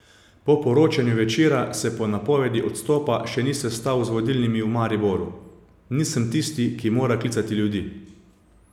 Po poročanju Večera se po napovedi odstopa še ni sestal z vodilnimi v Mariboru: "Nisem tisti, ki mora klicati ljudi.